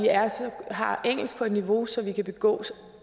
har engelsk på et niveau så vi kan begå